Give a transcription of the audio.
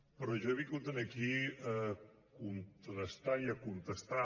però jo he vingut aquí a contrastar i a contestar